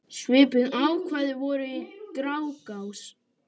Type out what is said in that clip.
Svipuð ákvæði voru í Grágás.